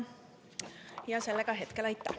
Aitäh!